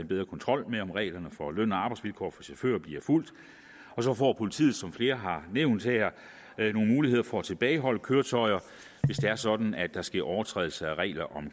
bedre kontrol med om reglerne for løn og arbejdsvilkår for chauffører bliver fulgt og så får politiet som flere har nævnt her nogle muligheder for at tilbageholde køretøjer hvis det er sådan at der sker overtrædelser af reglerne om